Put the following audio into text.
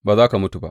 Ba za ka mutu ba.